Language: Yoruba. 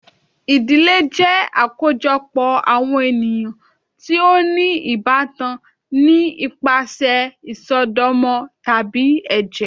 Ìdílé jẹ akojọpọ awọn eniyan ti o ni ibatán ni ipasẹ isọdọmọ tabi ẹjẹ.